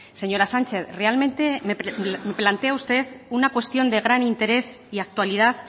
señora sánchez realmente me plantea usted una cuestión de gran interés y actualidad